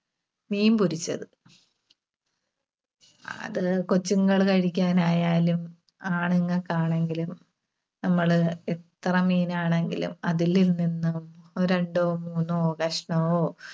മീൻപൊരിച്ചത്. അത് കൊച്ചുങ്ങള് കഴിക്കാനായാലും ആണുങ്ങൾക്ക് ആണെങ്കിലും നമ്മള് എത്ര മീനാണെങ്കിലും അതിലിൽനിന്ന് ഒരു രണ്ടോ മൂന്നോ കഷ്‌ണവോ